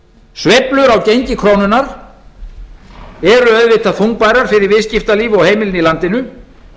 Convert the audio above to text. á gengi krónunnar eru auðvitað þungbærar fyrir viðskiptalíf og heimilin í landinu